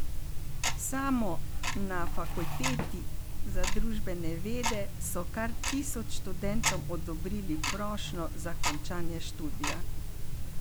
Samo na Fakulteti za družbene vede so kar tisoč študentom odobrili prošnjo za končanje študija.